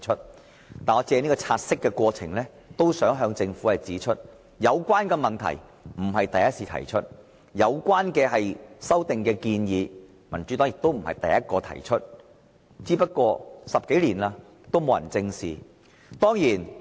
不過，我想藉現時察悉的過程向政府指出，有關的問題並非第一次提出，而有關的修訂建議也不是民主黨第一個提出，只是10多年來從未獲得正視而已。